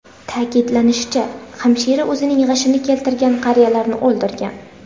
Ta’kidlanishicha, hamshira o‘zining g‘ashini keltirgan qariyalarni o‘ldirgan.